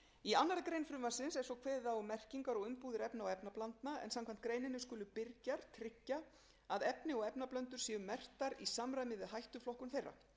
í annarri grein frumvarpsins er svo kveðið á um merkingar og umbúðir efna og efnablandna en samkvæmt greininni skulu birgjar tryggja að efni og efnablöndur séu merktar í samræmi við hættuflokkun þeirra